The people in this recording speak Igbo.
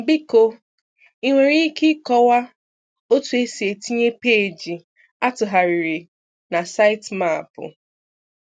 Biko ị nwere ike kọwaa otu esi etinye peeji atugharịrị na Sitemap?